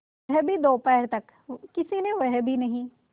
वह भी दोपहर तक किसी ने वह भी नहीं